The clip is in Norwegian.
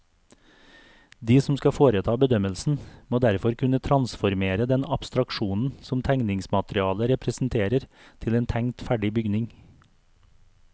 De som skal foreta bedømmelsen, må derfor kunne transformere den abstraksjonen som tegningsmaterialet representerer til en tenkt ferdig bygning.